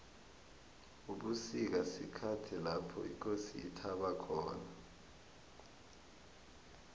ubusika sikhathi lapho ikosi ithaba khona